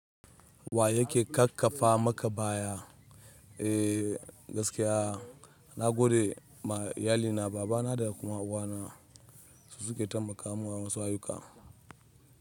Wa yake ƙaƙƙafa maka baya? Gaskiya na gode ma iyali babana da mama na su suke taimaka min a wasu ayyukan.